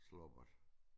Slummert